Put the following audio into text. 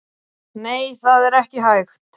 Nei, það er ekki hægt